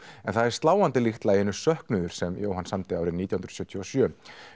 en það þykir sláandi líkt laginu söknuður sem Jóhann samdi árið nítján hundruð sjötíu og sjö